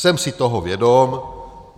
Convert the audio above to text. Jsem si toho vědom.